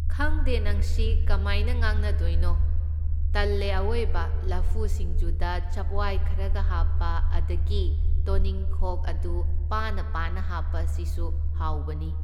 ꯈꯪꯗꯦ ꯅꯪꯁꯤ ꯀꯃꯥꯏꯅ ꯉꯥꯡꯅꯗꯣꯏꯅꯣ, ꯇꯜꯂꯦ ꯑꯑꯣꯏꯕ ꯂꯐꯨ ꯁꯤꯡꯖꯨꯗ ꯆꯞꯋꯥꯏ ꯈꯔꯒ ꯍꯥꯞꯄ, ꯑꯗꯒꯤ ꯇꯣꯅꯤꯡꯈꯣꯛ ꯑꯗꯨ ꯄꯥꯅ ꯄꯥꯅ ꯍꯥꯞꯄ ꯑꯁꯤꯁꯨ ꯍꯥꯎꯕꯅꯤ꯫